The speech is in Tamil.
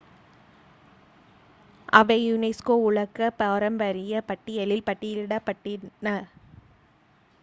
அவை யுனெஸ்கோ உலக பாரம்பரியப் பட்டியலில் பட்டியலிடப்பட்டுள்ளன